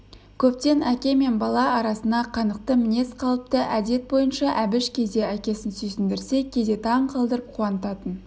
көптен әке мен бала арасына қанықты мінез қалыпты әдет бойынша әбіш кейде әкесін сүйсіндірсе кейде таң қалдырып қуантатын